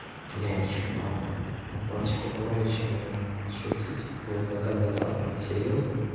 блядь чувак ну парочку товарища блин шутить вк двадцатом ты серьёзно